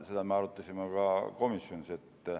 Seda me arutasime ka komisjonis.